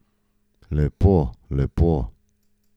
Lepo, lepo.